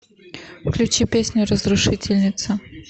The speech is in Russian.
включи песню разрушительница